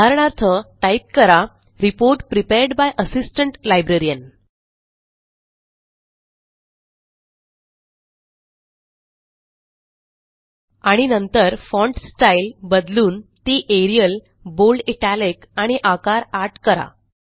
उदाहरणार्थ टाईप करा report prepared by assistant librarian आणि नंतर फॉन्ट स्टाईल बदलून ती एरियल बोल्ड इटालिक आणि आकार 8 करा